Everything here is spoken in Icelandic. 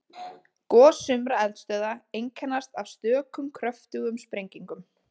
Gos sumra eldstöðva einkennast af stökum kröftugum sprengingum.